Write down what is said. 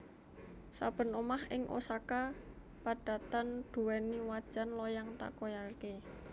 Saben omah ing Osaka padatan duweni wajan loyang takoyaki